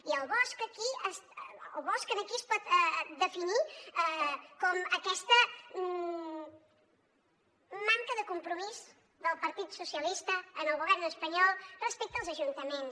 i el bosc aquí es pot definir com aquesta manca de compromís del partit socialista en el govern espanyol respecte als ajuntaments